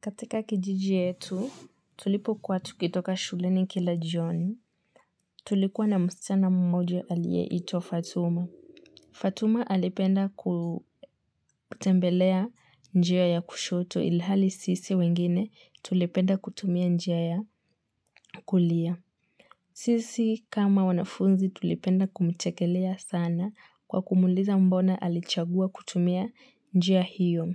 Katika kijiji yetu tulipo kua tukitoka shuleni kila jioni tulikuwa na mschina mmoja aliyeitwa Fatuma. Fatuma alipenda kutembelea njia ya kushoto ilhali sisi wengine tulipenda kutumia njia ya kulia. Sisi kama wanafunzi tulipenda kumchekelea sana kwa kumuliza mbona alichagua kutumia njia hiyo.